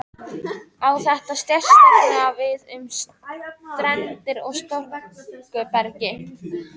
Á þetta sérstaklega við um steindir í storkubergi.